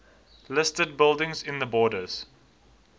listed buildings in the borders